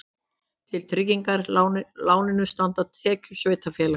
Til tryggingar láninu standa tekjur sveitarfélagsins